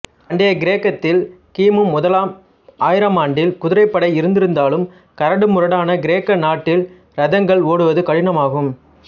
பண்டைய கிரேக்கத்தில் கிமு முதலாம் ஆயிரமாண்டில் குதிரைப்படை இருந்திருந்தாலும் கரடுமுரடான கிரேக்க நாட்டில் இரதங்கள் ஓட்டுவது கடினமாகும்